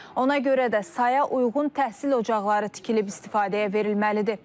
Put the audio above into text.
Ona görə də saya uyğun təhsil ocaqları tikilib istifadəyə verilməlidir.